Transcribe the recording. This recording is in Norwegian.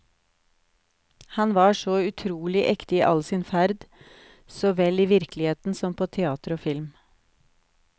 Han var så utrolig ekte i all sin ferd, så vel i virkeligheten som på teater og film.